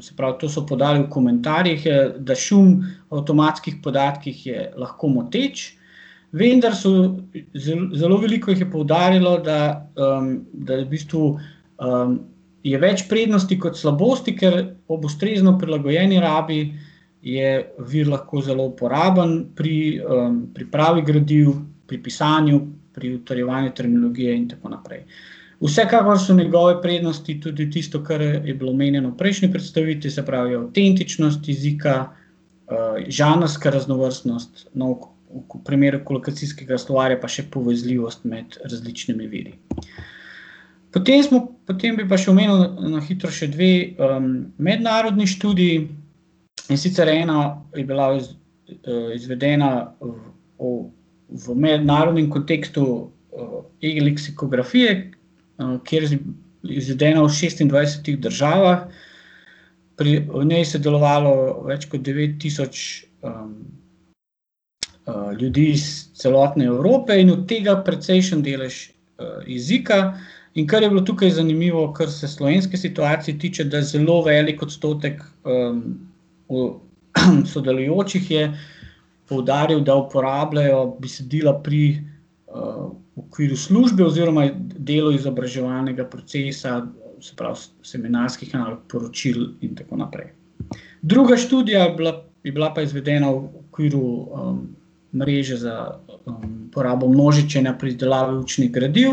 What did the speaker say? se pravi, to so podali v komentarjih, da šum v avtomatskih podatkih je lahko moteč, vendar so zelo veliko jih je poudarilo, da, da je v bistvu, je več prednosti kot slabosti, ker ob ustrezno prilagojeni uporabi je vir lahko zelo uporaben pri, pripravi gradiv, pri pisanju, pri utrjevanju terminologije in tako naprej. Vsekakor so njegove prednosti tudi tisto, kar je bilo omenjeno v prejšnji predstavitvi, se pravi avtentičnost jezika, žanrska raznovrstnost, nov primer kolokacijskega slovarja pa še povezljivost med različnimi viri. Potem smo, potem bi pa še omenil na hitro še dve, mednarodni študiji, in sicer ena je bila izvedena, v mednarodnem kontekstu, e-leksikografije, kjer izvedena v šestindvajsetih državah. Pri njej je sodelovalo več kot devet tisoč, ljudi s celotne Evrope, in od tega precejšen delež, jezika. In kar je bilo tukaj zanimivo, kar se slovenske situacije tiče, da zelo veliko odstotek, sodelujočih je poudaril, da uporabljajo besedila pri, v okviru službe oziroma delo izobraževalnega procesa, se pravi, seminarskih nalog, poročil in tako naprej. Druga študija je bila, je bila pa izvedena v okviru, mreže za uporabo množičenja pri izdelavi učnih gradiv.